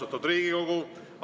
Austatud Riigikogu!